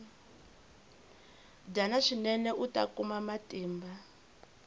dyana swinene uta kuma matimba